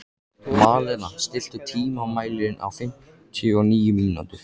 Malena, stilltu tímamælinn á fimmtíu og níu mínútur.